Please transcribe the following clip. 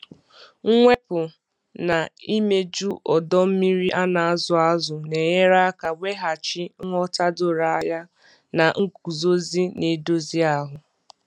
Mwepu na imeju ọdọ mmiri a na-azụ azụ na-enyere aka weghachi nghọta doro anya na nguzozi na-edozi ahụ.